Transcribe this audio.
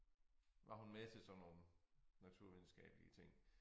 Var hun med til sådan nogle naturvidenskabelige ting